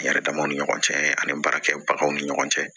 Yɛrɛdamaw ni ɲɔgɔn cɛ ani baarakɛbagaw ni ɲɔgɔn cɛ